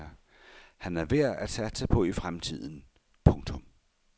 Han er værd at satse på i fremtiden. punktum